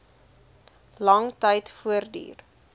lang tyd voortduur